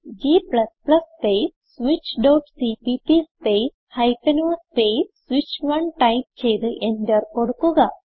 g space switchസിപിപി space o space switch1ടൈപ്പ് ചെയ്ത് എന്റർ കൊടുക്കുക